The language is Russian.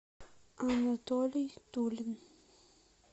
анатолий тулин